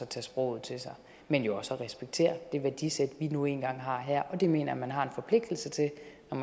tage sproget til sig men jo også at respektere det værdisæt vi nu engang har her det mener jeg at man har en forpligtelse til